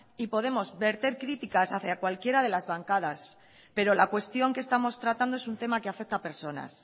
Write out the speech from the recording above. y podemos verter críticas hacia cualquiera de las bancadas pero la cuestión que estamos tratando es un tema que afecta a personas